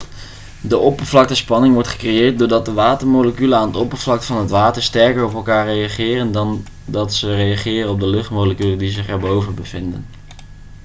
de oppervlaktespanning wordt gecreëerd doordat de watermoleculen aan het oppervlak van het water sterker op elkaar reageren dan dat ze reageren op de luchtmoleculen die zich erboven bevinden